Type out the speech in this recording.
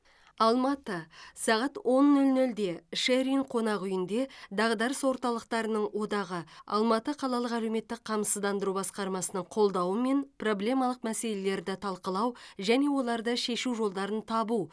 алматы сағат он нөл нөлде шер ин қонақ үйінде дағдарыс орталықтарының одағы алматы қалалық әлеуметтік қамсыздандыру басқармасының қолдауымен проблемалық мәселелерді талқылау және оларды шешу жолдарын табу